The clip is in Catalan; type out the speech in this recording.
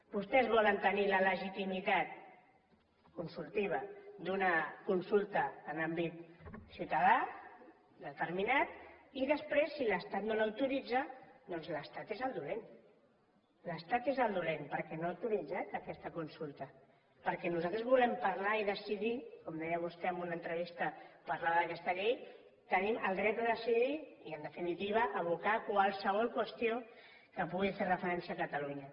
vostès volen tenir la legitimitat consultiva d’una consulta en àmbit ciutadà determinat i després si l’estat no l’autoritza doncs l’estat és el dolent l’estat és el dolent perquè no ha autoritzat aquesta consulta perquè nosaltres volem parlar i decidir com deia vostè en una entrevista parlant d’aquesta llei tenim el dret a decidir i en definitiva a abocar qualsevol qüestió que pugui fer referència a catalunya